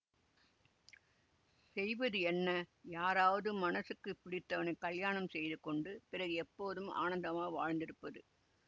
செய்வது என்ன யாராவது மனசுக்குப் பிடித்தவனைக் கலியாணம் செய்து கொண்டு பிறகு எப்போதும் ஆனந்தமாக வாழ்ந்திருப்பது